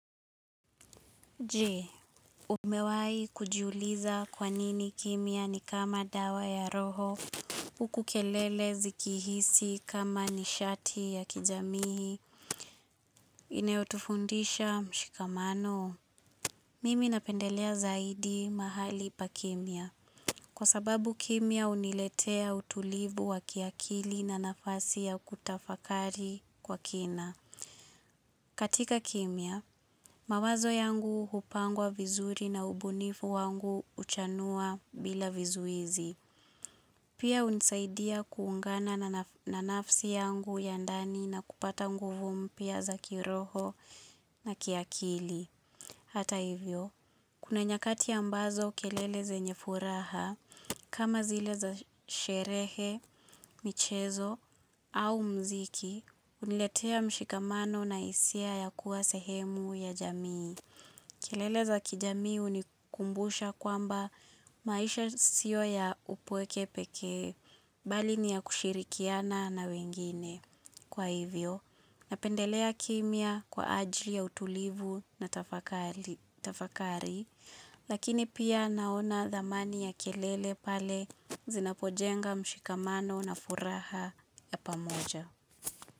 Jee, umewai kujiuliza kwa nini kimya ni kama dawa ya roho, ukukelele zikihisi kama nishati ya kijamihi, inayotufundisha mshikamano. Mimi napendelea zaidi mahali pa kimya. Kwa sababu kimya uniletea utulivu wa kiakili na nafasi ya kutafakari kwa kina. Katika kimya, mawazo yangu upangwa vizuri na ubunifu wangu uchanua bila vizuizi. Pia unisaidia kuungana na nafsi yangu ya ndani na kupata nguvu mpya za kiroho na kiakili. Hata hivyo, kuna nyakati ambazo kelele zenye furaha, kama zile za sherehe, michezo, au mziki, uniletea mshikamano na isia ya kuwa sehemu ya jamii. Kelele za kijamii unikumbusha kwamba maisha sio ya upweke pekee, bali ni ya kushirikiana na wengine. Kwa hivyo, napendelea kimya kwa ajili ya utulivu na tafakari, lakini pia naona dhamani ya kelele pale zinapojenga mshikamano na furaha ya pamoja.